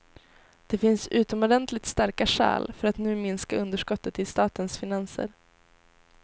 Det finns utomordentligt starka skäl för att nu minska underskottet i statens finanser.